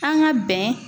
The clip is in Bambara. An ka bɛn